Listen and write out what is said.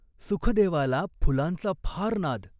सुखदेवाला फुलांचा फार नाद.